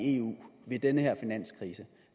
i eu ved den her finanskrise